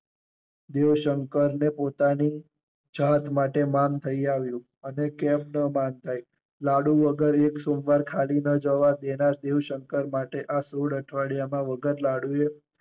દેવશંકર ને પોતાની ચાહત માટે માન થઈ આવ્યું અને કેમ ન માન થાય. લાડુ વગર એક સોમવાર ખાલી ન જવા દેનાર દેવ શંકર માટે આ સોળ અઠવાડિયામાં વગર લાડુ એ